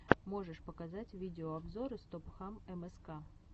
можешь показать видеообзоры стопхам мск